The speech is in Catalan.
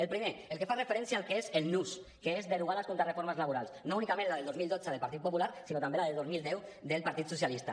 el primer el que fa referència al que és el nus que és derogar les contrareformes laborals no únicament la del dos mil dotze del partit popular sinó també la de dos mil deu del partit socialista